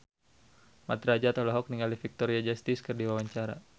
Mat Drajat olohok ningali Victoria Justice keur diwawancara